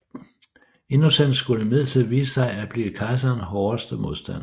Innocens skulle imidlertid vise sig at blive kejserens hårdeste modstander